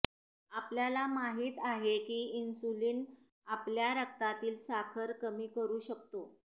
आपल्याला माहित आहे की इन्सुलिन आपल्या रक्तातील साखर कमी करू शकतो